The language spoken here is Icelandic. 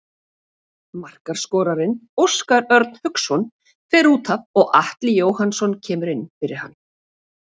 Markaskorarinn Óskar Örn Hauksson fer útaf og Atli Jóhannsson kemur inn fyrir hann.